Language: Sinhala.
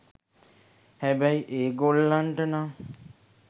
හැබැයි ඒ ගොල්ලන්ට නම්